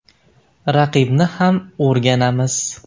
Raqibni ham o‘rganamiz.